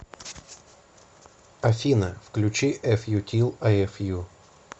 афина включи эф ю тил ай эф ю